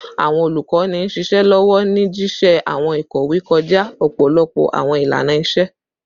Awọn olukọni n ṣiṣẹ lọwọ ni jiṣẹ awọn ikowe kọja ọpọlọpọ awọn ilana-iṣe